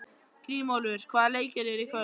Grímólfur, hvaða leikir eru í kvöld?